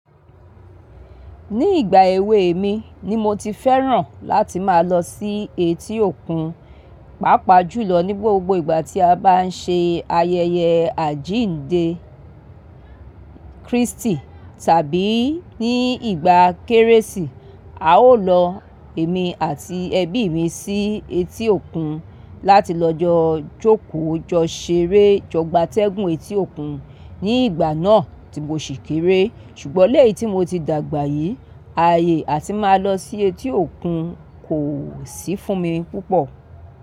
Ní ìgbà èwe mi ni mo ti fẹ́ràn láti máa lọ sí etí òkun, pàápàá jùlọ ní gbogbo ìgbà tí a bá ń ṣe ayẹyẹ àjíǹde Krístì tàbí ní ìgbà Kérésì, a ó lọ èmi àti ẹbí mi sí etí òkun láti lọ jọ jókòó, jọ ṣeré, jọ gbátẹ́gùn etí òkun ní ìgbà náà tí mo sì kéré. Ṣùgbọ́n léyìí tí mo ti dàgbà yìí, ààyè atí màá lọ sí etí òkun kò sì fún mi púpọ̀